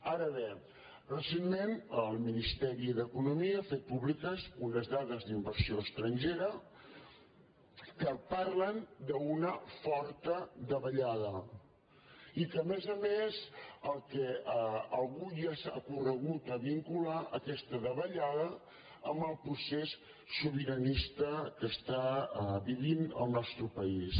ara bé recentment el ministeri d’economia ha fet pú·bliques unes dades d’inversió estrangera que parlen d’una forta davallada i que a més a més avui ja s’ha cor·regut a vincular aquesta davallada amb el procés sobira·nista que està vivint el nostre país